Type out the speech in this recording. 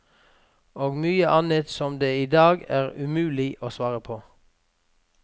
Og mye annet som det i dag er umulig å svare på.